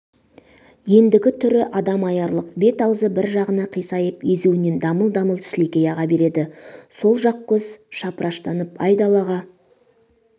ендігі түрі адам аярлық бет-аузы бір жағына қисайып езуінен дамыл-дамыл сілекей аға береді сол жақ көз шапыраштанып айдалаға